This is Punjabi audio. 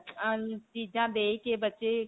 ਅਅ ਚੀਜਾਂ ਦੇਖ ਕੇ ਬੱਚੇ.